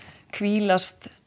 hvílast